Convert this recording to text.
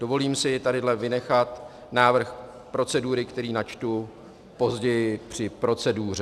Dovolím si tady vynechat návrh procedury, který načtu později při proceduře.